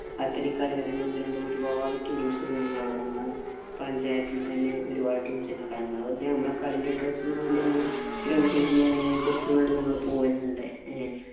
ഒത്തിരി കളി അറിയുന്ന ഒന്ന് രണ്ടു ഒരുപാട് teams ഉണ്ട് ഞങ്ങടവിടെ. ഞങ്ങടെ panchayath ഇല്‍ തന്നെ ഒരുപാട് teams ഉണ്ട്. അപ്പൊ ഞങ്ങള് പിന്നെ ഞങ്ങടെ കളീന്‍റെ interest ഇന് വേണ്ടി ഞങ്ങള് fees ഉം, കാര്യങ്ങളും കൊടുത്ത് എന്നാലും ഞങ്ങള് പോകലുണ്ട്. ഏ